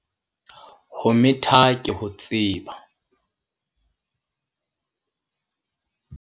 Ho metha ke ho tseba.